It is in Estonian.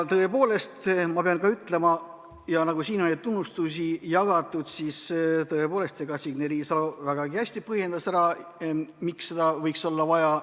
Tõepoolest, ma pean ka ütlema – siin on neid tunnustusi jagatud – Signe Riisalo vägagi hästi põhjendas ära, miks seda võiks olla vaja.